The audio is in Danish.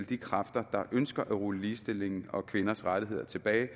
de kræfter der ønsker at rulle ligestillingen og kvinders rettigheder tilbage